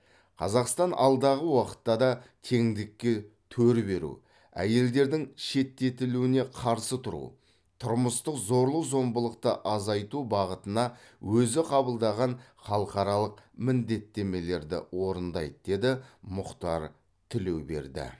қазақстан алдағы уақытта да теңдікке төр беру әйелдердің шеттетілуіне қарсы тұру тұрмыстық зорлық зомбылықты азайту бағытына өзі қабылдаған халықаралық міндеттемелерді орындайды деді мұхтар тілеуберді